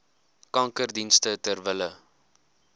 kankerdienste ter wille